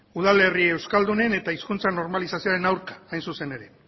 udalerri euskaldunen eta hizkuntza normalizazioaren aurka hain zuzen ere